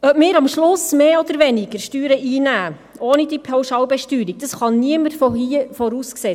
Ob wir am Schluss ohne diese Pauschalbesteuerung mehr oder weniger Steuer einnehmen, das kann niemand hier im Saal voraussehen.